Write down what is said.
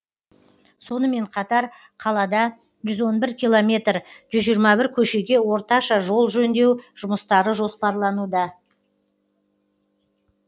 сонымен қатар қалада жүз он бір километр жүз жиырма бір көшеге орташа жол жөндеу жұмыстары жоспарлануда